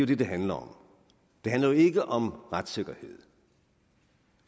det det handler om det handler ikke om retssikkerhed